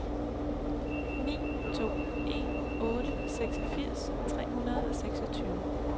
ni to en otte seksogfirs tre hundrede og seksogtyve